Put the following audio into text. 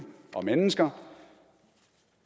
og mennesker